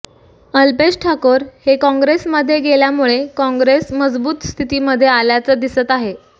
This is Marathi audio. अल्पेश ठाकोर हे काँग्रेसमध्ये गेल्यामुळे काँग्रेस मजबूत स्थितीमध्ये आल्याचं दिसत आहे